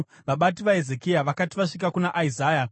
Vabati vaHezekia vakati vasvika kuna Isaya,